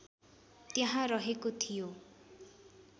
त्यहाँ रहेको थियो